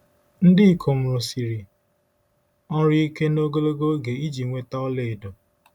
Ndị ikom rụsiri ọrụ ike na ogologo oge iji nweta ọlaedo.